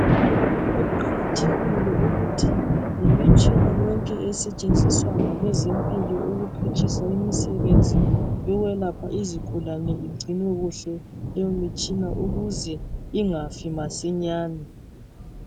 Kuqakathekile ukuthi imitshina yonke esetshenziswa ngabezempilo ukuphutshisa imisebenzi yokwelapha izigulane igcinwe kuhle leyo mitshina ukuze ingafi masinyane.